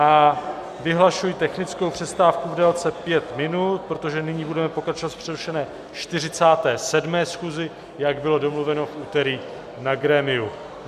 A vyhlašuji technickou přestávku v délce pět minut, protože nyní budeme pokračovat v přerušené 47. schůzi, jak bylo domluveno v úterý na grémiu.